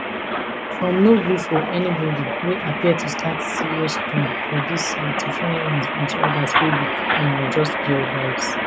from no gree for anybody wey appear to set serious tone for di year to funny ones and to odas wey be um just pure vibes